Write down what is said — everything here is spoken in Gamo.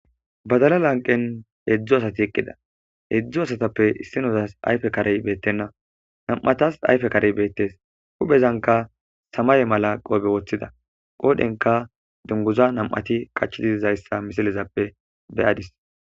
Badala lanqen hedzu asati eqida hezday asatape issinizas ayfe karey betena nam'atas ayfe karey betes huphezankka samaye mala qobe wotida qodhenkka dunguza nam'ati qacgidi dizaysa missizan be'adis.